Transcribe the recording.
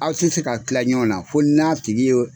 Aw ti se ka kila ɲɔgɔn na fo n'a tigi ye